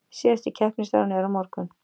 Síðasti keppnisdagurinn er á morgun